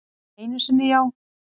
Einu sinni já.